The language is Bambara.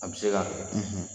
A bɛ se ka